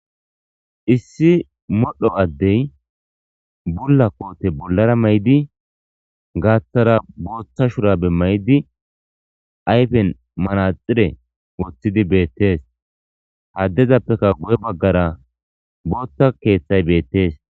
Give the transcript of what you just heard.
Issi modho addey bulla koote bollara may'idi gaaththara booththa shurabe may'di ayfen manaxire woththidi beettees haddezappeka gu'e baggara booththa keeththay beettees.